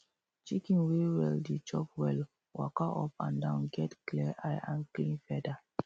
chicken way well dey chop well waka um up and down get clear eye and clean feather